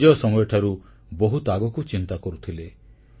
ସେ ନିଜ ସମୟଠାରୁ ବହୁତ ଆଗକୁ ଚିନ୍ତା କରୁଥିଲେ